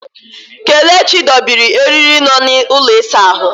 Kelechi dobiri eriri nọ n'ụlọ ịsa ahụ.